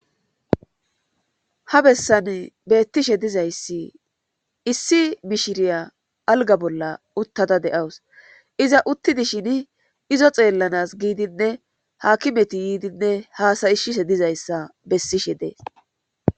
ha bessan beettishe dizayssi issi mishiriya alga bolla uttada de7awus iza uttidi shin izo xeellanas giidinne haakimeti yiidinne haasayishishe dizayssa bessishe dees